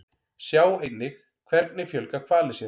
Sjá einnig Hvernig fjölga hvalir sér?